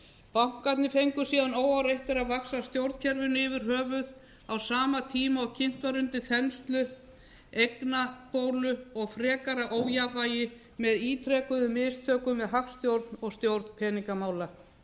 bankarnir fengu síðan óáreittir að vaxa stjórnkerfinu yfir höfuð á sama tíma og kynnt var undir þenslu eignabólu og frekara ójafnvægi með ítrekuðum mistökum við hagstjórn og stjórn peningamála